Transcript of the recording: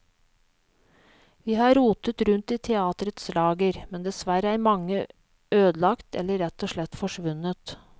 Vi har rotet rundt i teatrets lager, men dessverre er mange ødelagt eller rett og slett forsvunnet.